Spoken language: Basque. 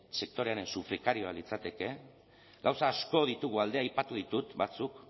sektorearen sufrikarioa litzateke gauza asko ditugu alde aipatu ditut batzuk